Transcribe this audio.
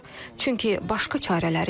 Çünki başqa çarələri yoxdur.